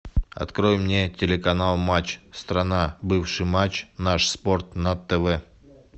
открой мне телеканал матч страна бывший матч наш спорт на тв